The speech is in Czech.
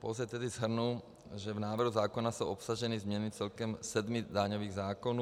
Pouze tedy shrnu, že v návrhu zákona jsou obsaženy změny celkem sedmi daňových zákonů.